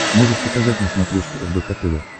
можешь показать на смотрешке рбк тв